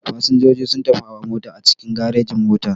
Fasinjoji sunfi hawa mota a cikin garejin-mota.